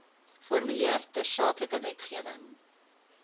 formuleer tersaaklike wetgewing